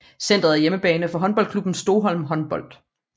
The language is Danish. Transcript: Centret er hjemmebane for håndboldklubben Stoholm Håndbold